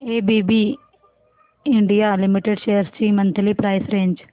ABB India Limited shares ची monthly price range